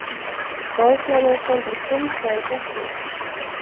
Boðflennan stendur hvumsa í gættinni.